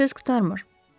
Söz qurtarmır.